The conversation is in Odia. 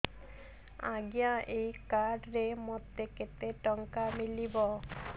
ଆଜ୍ଞା ଏଇ କାର୍ଡ ରେ ମୋତେ କେତେ ଟଙ୍କା ମିଳିବ